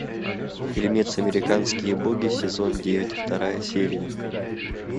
фильмец американские боги сезон девять вторая серия